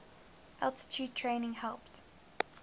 altitude training helped